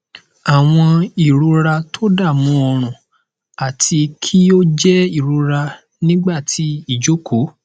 awọn irora todamu orun ati ki o jẹ irora nigba ti ijoko